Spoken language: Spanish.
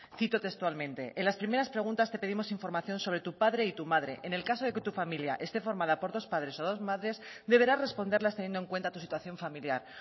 cito textualmente en las primeras preguntas te pedimos información sobre tu padre y tu madre en el caso de que tu familia esté formada por dos padres o dos madres deberás responderlas teniendo en cuenta tu situación familiar